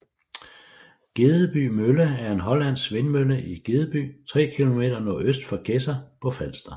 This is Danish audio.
Gedesby Mølle er en hollandsk vindmølle i Gedesby 3 km nordøst for Gedser på Falster